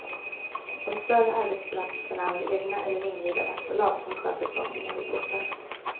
De större arbetsplatserna har egna eller inhyrda vaktbolag som sköter sållningen vid portarna.